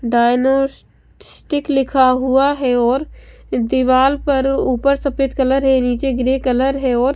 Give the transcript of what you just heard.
dino stick लिखा हुआ है और दीवाल पर ऊपर सफ़ेद कलर है नीचे ग्रे कलर है और --